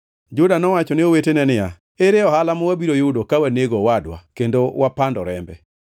Juda nowacho ne owetene niya, “Ere ohala ma wabiro yudo ka wanego owadwa kendo wapando rembe?